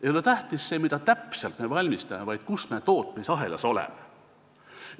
Ei ole tähtis see, mida me täpselt valmistame, vaid kus me tootmisahelas oleme.